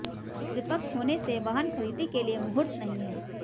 पितृपक्ष होने से वाहन खरीदी के लिए मुहूर्त नहीं है